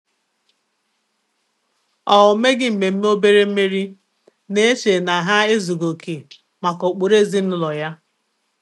Ọ́ meghi mmémme óbèré mmèrí, nà-échè nà há èzùghị́ óké màkà ụ́kpụ́rụ́ èzínụ́lọ yá.